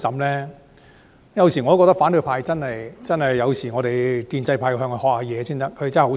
我有時候覺得建制派真的要向反對派學習，他們真的很厲害。